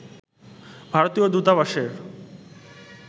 ভারতীয় দূতাবাসের